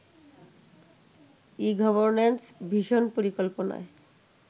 e-governance vision পরিকল্পনায়